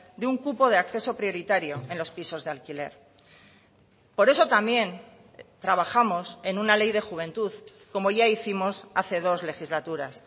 de un cupo de acceso prioritario en los pisos de alquiler por eso también trabajamos en una ley de juventud como ya hicimos hace dos legislaturas